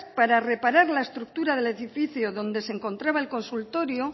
para reparar la estructura del edificio donde se encontraba el consultorio